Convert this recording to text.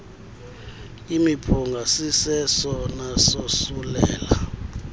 imiphunga sisesona sosulela